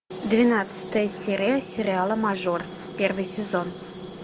двенадцатая серия сериала мажор первый сезон